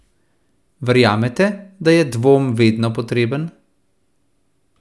Verjamete, da je dvom vedno potreben?